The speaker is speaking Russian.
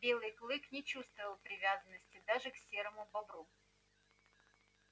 белый клык не чувствовал привязанности даже к серому бобру